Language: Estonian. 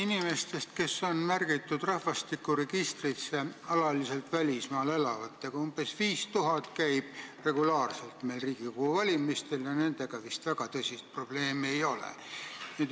Inimestest, kes on märgitud rahvastikuregistrisse kui alaliselt välismaal elavad, umbes 5000 osaleb regulaarselt Riigikogu valimistel ja nendega vist väga tõsist probleemi ei ole.